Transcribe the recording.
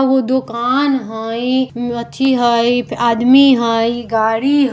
उ दुकान हई अथी हई आदमी हई गाड़ी --